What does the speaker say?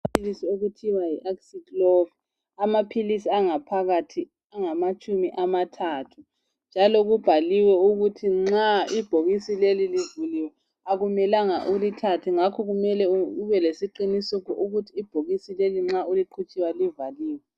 Amaphilisi okuthiwa yiAciclovir. Amaphilisi angaphakathi angamatshumi amathathu, njalo kubhaliwe ukuthi nxa ibhokisi keli livuliwe, kakumelanga ulithathe. Ngakho kumele ubelesiqiniseko sokuthi ibhokisi leli nxa uliqhutshelwa livaliwe.